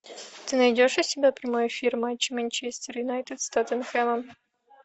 ты найдешь у себя прямой эфир матча манчестер юнайтед с тоттенхэмом